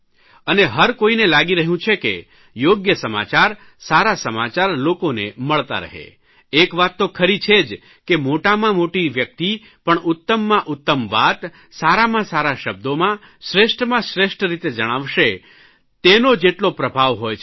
અને હરકોઇને લાગી રહ્યું છે કે યોગ્ય સમાચાર સારા સમાચાર લોકોને મળતા રહે એક વાત તો ખરી છે જ કે મોટામાં મોટી વ્યકિત પણ ઉત્તમમાં ઉત્તમ વાત સારામાં સારા શબ્દોમાં શ્રેષ્ઠમાં શ્રેષ્ઠ રીતે જણાવશે તેનો જેટલો પ્રભાવ હોય છે